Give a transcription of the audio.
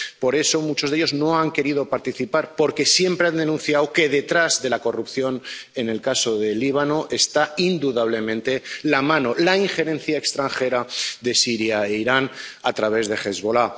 Por eso, muchos de ellos no han querido participar, porque siempre han denunciado que detrás de la corrupción en el caso del Líbano está indudablemente la mano, la injerencia extranjera de Siria e Irán a través de Hezbolá.